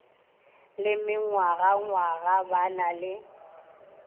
le mengwagangwaga ba na le